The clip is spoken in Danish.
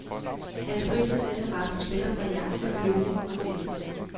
Hans fritidsinteresser spænder fra jagt til flyvning og tennis.